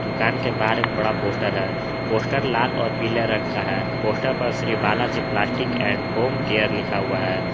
दुकान के बारे में बड़ा पोस्टर है पोस्टर लाल और पीले रंग का है पोस्टर पर Shri Balaji plastic and home care लिखा हुआ है।